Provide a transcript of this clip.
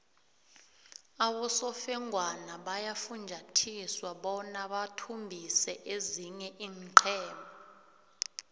abosofengwana bayafunjathiswa bona bathumbise ezinye iinqhema